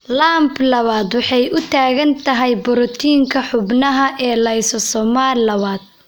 LAMP2 waxay u taagan tahay borotiinka xuubabka ee lysosomal lawad.